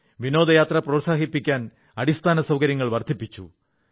വിനോദയാത്ര പ്രോത്സാഹിപ്പിക്കാൻ അടിസ്ഥാനസൌകര്യങ്ങൾ വർധിപ്പിച്ചു